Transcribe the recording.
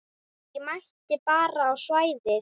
Ég mæti bara á svæðið.